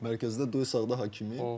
Mərkəzdə Due sağda Hakimi.